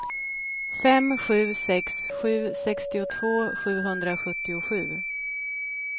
fem sju sex sju sextiotvå sjuhundrasjuttiosju